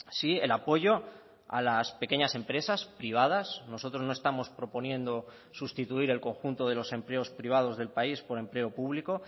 sí el apoyo a las pequeñas empresas privadas nosotros no estamos proponiendo sustituir el conjunto de los empleos privados del país por empleo público